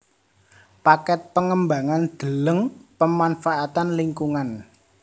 Paket pengembangan deleng pemanfaatan lingkungan